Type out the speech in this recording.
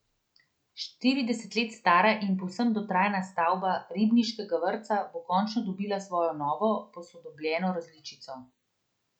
Šestintrideset let stara in povsem dotrajana stavba ribniškega vrtca bo končno dobila svojo novo, posodobljeno različico.